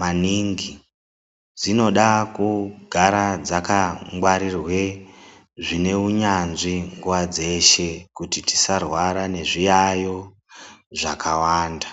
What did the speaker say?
maningi. Dzinoda kugara dzakangwarirwe zvine unyanzvi nguva dzeshe, kuti tisarwara nezviyaiyo zvakawanda.